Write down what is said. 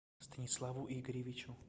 станиславу игоревичу